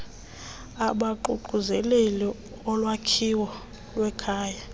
abaququzelela ulwakhiwo lwamakhaya